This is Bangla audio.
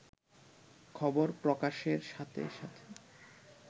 খবর প্রকাশের সাথে সাথে